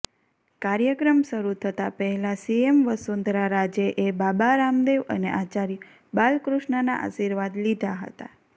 કાર્યક્રમ શરૂ થતા પહેલાં સીએમ વસુંધરા રાજેએ બાબા રામદેવ અને આચાર્ય બાલકૃષ્ણના આશીર્વાદ લીધા હતા